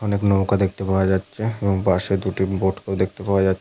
অনেক নৌকা দেখতে পাওয়া যাচ্ছে এবং পাশে দুটি বোট কেও দেখতে পাওয়া যাচ--